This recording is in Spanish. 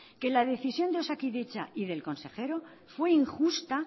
que la decisión de osakidetza y del consejero fue injusta